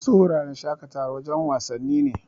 Wasu wuraren shaƙatawar, wajen wasanni ne.